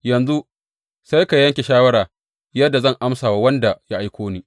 Yanzu sai ka yanke shawara yadda zan amsa wa wanda ya aiko ni.